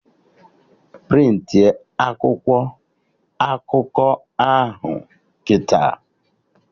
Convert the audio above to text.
Prịntị a akwụkwọ akụkọ ụwa ahụ kịta!